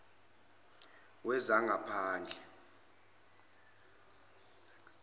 wezangaphandle